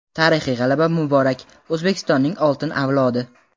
Tarixiy g‘alaba muborak, O‘zbekistonning oltin avlodi!.